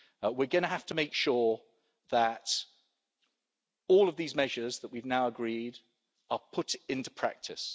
We're going to have to make sure that all of these measures that we have now agreed are put into practice.